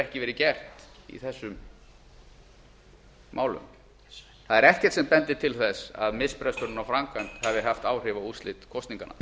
ekki verið gert í þessum málum það er ekkert sem bendir til þess að misbresturinn á framkvæmd hafi haft áhrif á úrslit kosninganna